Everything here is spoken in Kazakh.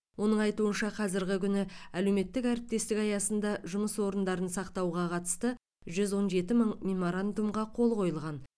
оның айтуынша қазіргі күні әлеуметтік әріптестік аясында жұмыс орындарын сақтауға қатысты жүз он жеті мың меморандумға қол қойылған